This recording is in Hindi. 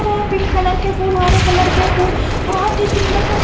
जो पिंक कलर के फूल हरे कलर के फूल बहुत ही सुंदर से--